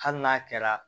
Hali n'a kɛra